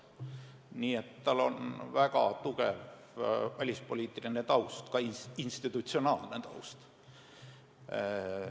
Nii et tal on väga tugev välispoliitiline taust, ka institutsionaalne taust.